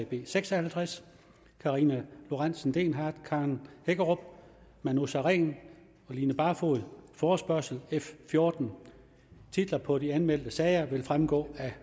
b seks og halvtreds karina lorentzen dehnhardt karen hækkerup manu sareen og line barfod forespørgsel f fjorten titlerne på de anmeldte sager vil fremgå af